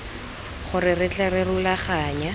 gore re tle re rulaganye